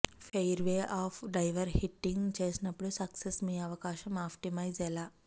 fairway off driver hitting చేసినప్పుడు success మీ అవకాశం ఆప్టిమైజ్ ఎలా